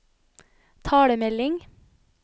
talemelding